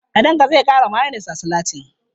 Kadanga zai ƙara mayones a salatin.